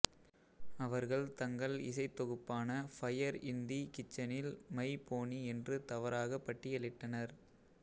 அவர்கள் தங்கள் இசைத் தொகுப்பான ஃபயர் இன் தி கிச்சனில் மை போனி என்று தவறாக பட்டியலிட்டனர்